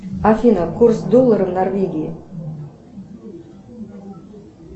афина курс доллара в норвегии